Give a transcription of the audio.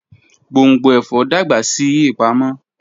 Gbongbo ẹfọ dagba si ipamo.